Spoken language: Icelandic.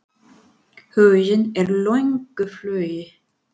Huginn er í löngu flugi.